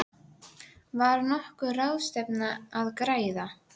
Sjálf lötraði ég niðurdregin í áttina þangað.